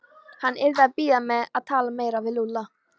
Hann yrði að bíða með að tala meira við Lúlla.